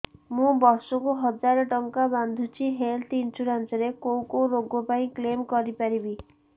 ମୁଁ ବର୍ଷ କୁ ହଜାର ଟଙ୍କା ବାନ୍ଧୁଛି ହେଲ୍ଥ ଇନ୍ସୁରାନ୍ସ ରେ କୋଉ କୋଉ ରୋଗ ପାଇଁ କ୍ଳେମ କରିପାରିବି